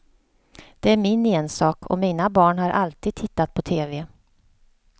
Det är min ensak, och mina barn har alltid tittat på tv.